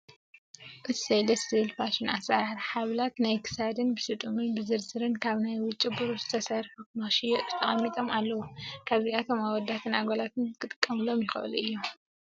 እሰይ! ደስ ዝብል! ፋሽን ኣሰራርሓ ሃበላት ናይ ክሳድ ብስጡምን ብዝርዝርን ካብ ናይ ውጪ ብሩር ዝተሰርሑ ንክሽየጡ ተቀሚጦም ኣለው። እዚኣቶም ኣወዳትን ኣጋላት ክጥቀምሎም ይኽእሉ እዩም።